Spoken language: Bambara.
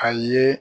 A ye